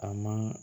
A man